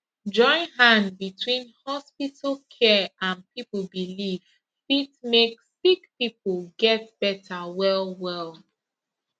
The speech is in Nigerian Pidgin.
join hand between hospital care and people belief fit make sick people get better wellwell